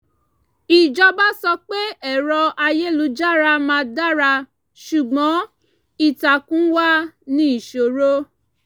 ìjọba sọ pé ẹ̀rọ-ayélujára máa dara ṣùgbọ́n ìtàkùn wà ní ìṣòro